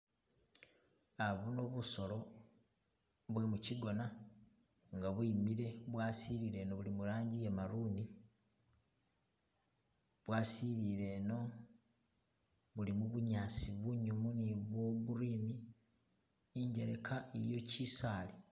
Uh buno bisolo buli mukigoona nga bwimile bwasilile eno buli murangi iye maroon bwasilile eno buli mubunyaasi bunyumu ni bwo green, injeleka iliyo kisaali.